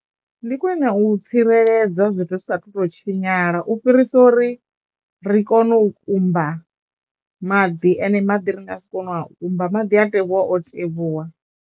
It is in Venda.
Ndi khwine u tsireledza zwithu zwi saathu to tshinyala u fhirisa uri ri kono u kumba maḓi ende maḓi ri nga si kono u a kumba maḓi a tevhuwa o tevhuwa.